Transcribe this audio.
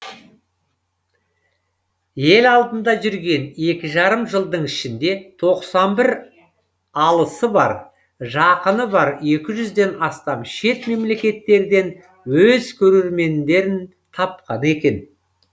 ел алдында жүрген екі жарым жылдың ішінде тоқсан бір алысы бар жақыны бар екі жүзден астам шет мемлекеттерден өз көрермендерін тапқан екен